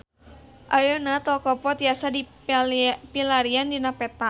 Ayeuna Tol Kopo tiasa dipilarian dina peta